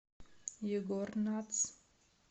егор натс